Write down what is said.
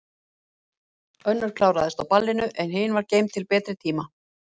Önnur kláraðist á ballinu, en hin var geymd til betri tíma.